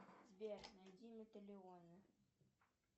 сбер найди металионы